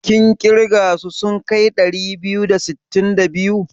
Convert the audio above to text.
Kun ƙirga su sun kai ɗari biyu da sittin da biyu?